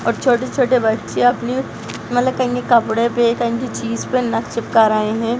--और छोटे-छोटे बच्चे अपने मतलब कपड़े पे किसी चीज़ पर नक चिपका रहे है।